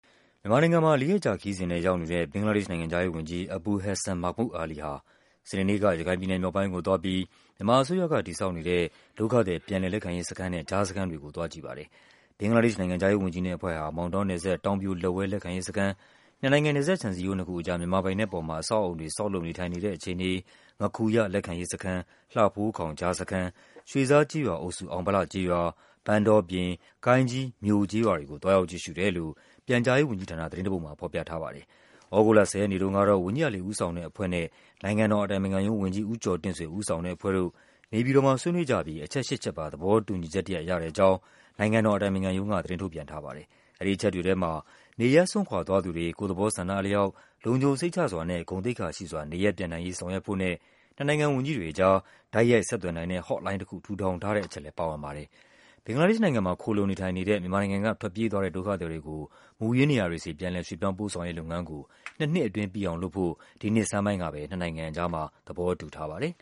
မြန်မာနိုင်ငံမှာ လေးရက်ကြာခရီးစဉ်နဲ့ ရောက်နေတဲ့ ဘင်္ဂလားဒေ့ရှ်နိုင်ငံခြားရေးဝန်ကြီး Abul Hassan Mahmood Ali ဟာ စနေနေ့က ရခိုင်ပြည်နယ်မြောက်ပိုင်းကို သွားပြီး မြန်မာ အစိုးရ က တည်ဆောက်နေတဲ့ ဒုက္ခသည် ပြန်လည်လက်ခံရေးစခန်းနဲ့ ကြားစခန်းတွေကို ကြည့်ပါတယ်။ ဘင်္ဂလားဒေ့ရှ် နိုင်ငံခြားရေးဝန်ကြီးနဲ့အဖွဲ့ဟာ မောင်တောနယ်စပ်၊ တောင်ပြိုလက်ဝဲ လက်ခံရေးစခန်း၊ နှစ်နိုင်ငံ နယ်စပ်ခြံစည်းရိုး နှစ်ခုအကြား မြန်မာပိုင်နက်ပေါ်မှာ အဆောက် အအုံတွေ ဆောက်လုပ်နေထိုင်နေတဲ့ အခြေအနေ၊ ငါးခူရ လက်ခံရေးစခန်း၊ လှဖိုးခေါင် ကြားစခန်း၊ ရွှေဇားကျေးရွာအုပ်စု အောင်ဗလကျေးရွာ၊ ပန်းတောပြင်၊ ကိုင်းကြီး (မြို) ကျေးရွာတွေကို သွားရောက် ကြည့်ရှုတယ်လို့ ပြန်ကြားရေးဝန်ကြီးဌာန သတင်းတပုဒ်မှာ ဖော်ပြထားပါတယ်။ သြဂုတ်လ ၁၀ ရက်နေ့တုန်းကတော့ ဝန်ကြီး Ali ဦးဆောင်တဲ့အဖွဲ့နဲ့ နိုင်ငံတော် အတိုင်ပင်ခံ ရုံးဝန်ကြီး ဦးကျော်တင့်ဆွေ ဦးဆောင် တဲ့အဖွဲ့တို့ နေပြည်တော်မှာ ဆွေးနွေးကြပြီး အချက် ၈ ချက်ပါ သဘောတူညီချက်တရပ် ရတဲ့အကြောင်း နိုင်ငံတော် အတိုင်ပင်ခံ ရုံးက သတင်းထုတ်ပြန်ထားပါတယ်။ အဲဒီအချက်တွေထဲမှာ နေရပ်စွန့်ခွာသွားသူတွေ ကိုယ့်သဘောဆန္ဒအလျောက် လုံခြုံ စိတ်ချစွာနဲ့ ဂုဏ်သိက္ခာရှိစွာ နေရပ်ပြန်နိုင်ရေးဆောင်ရွက်ဖို့နဲ့ နှစ်နိုင်ငံဝန်ကြီးတွေအကြား တိုက်ရိုက် ဆက်သွယ်နိုင်တဲ့ HOTLINE တခု ထူထောင်ထားတဲ့ အချက်လည်း ပါဝင်ပါတယ်။ ဘင်္ဂလားဒေ့ရှ်နိုင်ငံမှာ ခိုလှုံနေထိုင်နေတဲ့ မြန်မာနိုင်ငံက ထွက်ပြေးသွားတဲ့ ဒုက္ခသည် တွေကို မူရင်းနေရာတွေဆီ ပြန်လည် ရွှေ့ပြောင်းပို့ဆောင်ရေးလုပ်ငန်းကို နှစ်နှစ်အတွင်း ပြီးအောင်လုပ်ဖို့ ဒီနှစ်ဆန်းပိုင်းက နှစ်နိုင်ငံအကြား သဘောတူထားပါတယ်